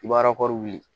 I b'a wuli